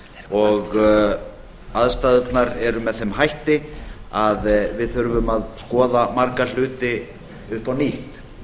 og aðstæðurnar eru með þeim hætti að við þurfum að skoða marga hluti upp á nýtt